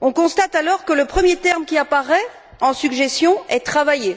On constate alors que le premier terme qui apparaît en suggestion est travailler